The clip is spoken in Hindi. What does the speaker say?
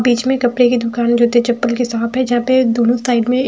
बीच में कपड़े की दुकान जूते चप्पल की शॉप है जा पे दोनों साइड में--